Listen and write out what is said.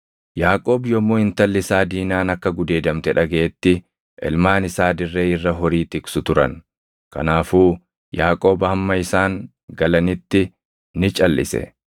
Yaaqoob yommuu intalli isaa Diinaan akka gudeedamte dhagaʼetti, ilmaan isaa dirree irra horii tiksu turan; kanaafuu Yaaqoob hamma isaan galanitti ni calʼise.